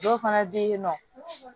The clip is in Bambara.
Dɔw fana bɛ yen nɔ